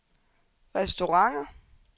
restauranter